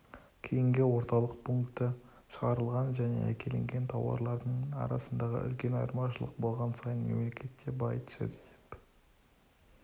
кейінгі орталық пункті шығарылған және әкелінген тауарлардың арасында үлкен айырмашылық болған сайын мемлекет те бай түседі деп